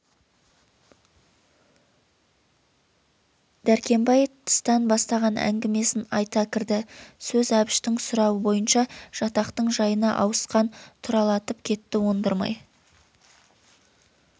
дәркембай тыстан бастаған әңгімесін айта кірді сөз әбіштің сұрауы бойынша жатақтың жайына ауысқан тұралатып кетті ондырмай